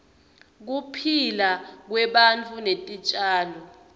kuphila kwebantu netitjalo